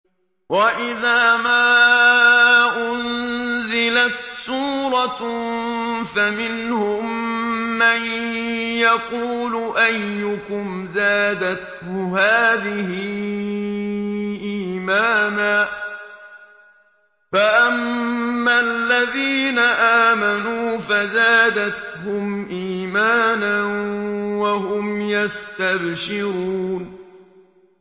وَإِذَا مَا أُنزِلَتْ سُورَةٌ فَمِنْهُم مَّن يَقُولُ أَيُّكُمْ زَادَتْهُ هَٰذِهِ إِيمَانًا ۚ فَأَمَّا الَّذِينَ آمَنُوا فَزَادَتْهُمْ إِيمَانًا وَهُمْ يَسْتَبْشِرُونَ